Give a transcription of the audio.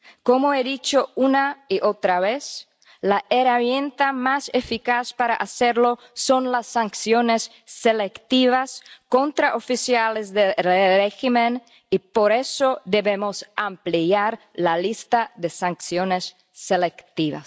Como he dicho una y otra vez la herramienta más eficaz para hacerlo son las sanciones selectivas contra oficiales del régimen y por eso debemos ampliar la lista de sanciones selectivas.